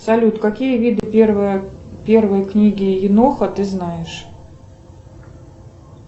салют какие виды первой книги еноха ты знаешь